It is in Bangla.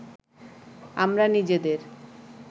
আমরা নিজেদের